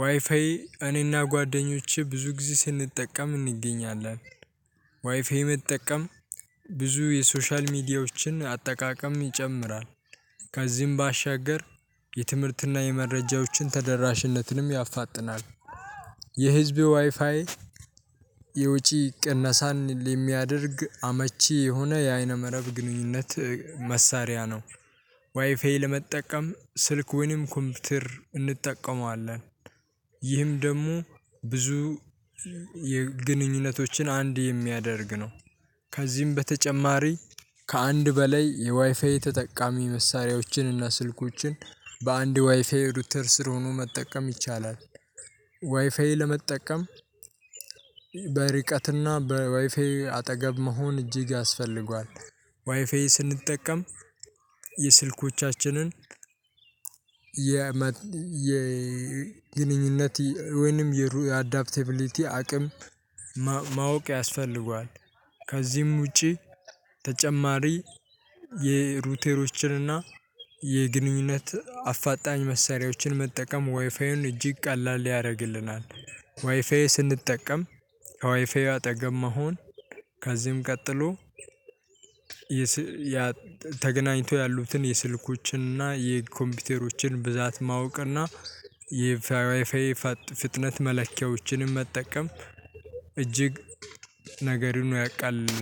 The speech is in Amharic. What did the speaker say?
ዋይፋይ እኔና ጓደኞቼ ብዙ ጊዜ ስንጠቀም እንገኛለን ዋይፋይ መጠቀም ብዙ የሶሻል ሚዲያዎችን አጠቃቀም ይጨምራል። ከዚህም ባሻገር የትምህርትና የመረጃዎችን ተደራሽነትንም ያፋጥናል። የህዝብ ዋይፋይ የወጪ ቅነሳን የሚያደርግ አመች የሆነ የበይነመረብ ግንኙነት መሳሪያ ነው። ዋይፋይ ለመጠቀም ስልክ ወይንም ኮምፒውተር እንጠቀመዋለን ይህም ደግሞ ብዙ ግንኙነቶችን አንድ የሚያደርግ ነው። ከዚህም በተጨማሪ ከአንድ በላይ የዋይፋይ ተጠቃሚ መሳሪያዎችን እና ስልኮችን በአንድ ዋይፋይ ራዉተር ስር ሆኖ መጠቀም ይቻላል ዋይፋይ ለመጠቀም በርቀት እና በዋይፋይ አጠገብ መሆን እጅግ ያስፈልገዋል። ዋይፋይ ስንጠቀም የስልኮቻችንን የመጠን የግንኙነት ወይንም አዳፕቲቢሊቲ አቅም ማወቅ ያስፈልገዋል ከዚህም ውጪ ተጨማሪ የራዉተሮችንና የግንኙነት አፋጣኝ መሳሪያዎችን መጠቀም ወይፋይዩን እጅግ ቀላል ያደርግልናል ወይፋይ ስንጠቀም ከዋይፋዩ አጠገብ መሆን ከዚህም ቀጥሎ ተገናኝቶ ያሉትን የስልኮችንና የኮምፒውተሮችን ብዛት ማወቅና የዋይፋዩን ፍጥነት መለኪያዎችንም መጠቀም እጅግ ነገር ሆኖ ያቃልልልናል።